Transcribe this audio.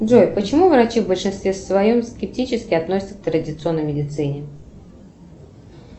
джой почему врачи в большинстве своем скептически относятся к традиционной медицине